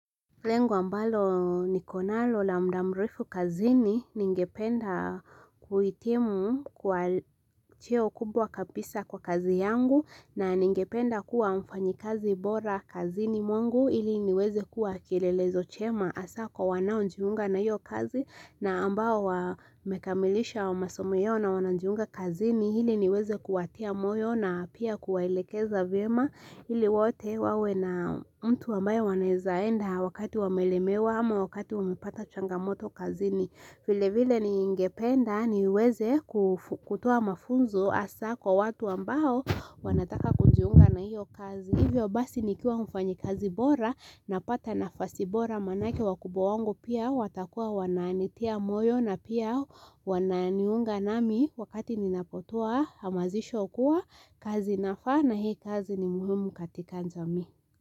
Lengo ambalo niko nalo la mda mrefu kazini ningependa kuitimu kwa cheo kubwa kabisa kwa kazi yangu na ningependa kuwa mfanyi kazi bora kazini mwengu ili niweze kuwa kilelezo chema asako wanao njiunga na hiyo kazi na ambao wamekamilisha wa masomo yao na wanajiunga kazini ili niweze kuwatia moyo na pia kuwaelekeza vyema ili wote wawe na mtu ambaye wanawezaenda wakati wamelemewa ama wakati umepata changamoto kazini vile vile ningependa niweze kutua mafunzo hasa kwa watu ambao wanataka kujiunga na hiyo kazi hivyo basi ni kuwa mfanyikazi bora na pata nafasi bora manake wakubwa wangu pia watakuwa wananitia moyo na pia wananiunga nami wakati ninapotua amazisho kuwa kazi inafaa na hii kazi ni muhimu katika jamii.